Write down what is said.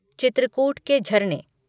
चित्रकूट के झरने